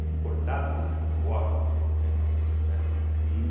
E cortado por córregos, entende? né e